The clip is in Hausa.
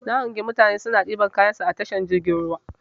Na hangi mutane suna ɗaukan kayansu a tashar jirgin ruwa.